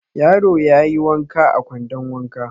Yaro ya yi wanka a kwandon wanka.